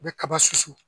U bɛ kaba susu